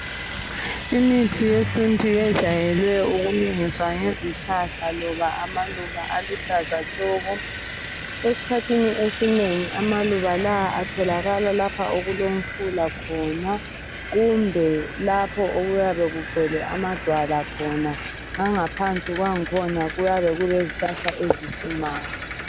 Imithi yesintu yejayele ukulungiswa ngezihlahla loba amaluba aluhlaza tshoko. Esikhathini esinengi amaluba lawa atholakala lapha okulomfula khona kumbe lapho okuyabe kugcwele amadwala khona langaphansi kwakhona kuyabe kulezihlahla ezihlumayo.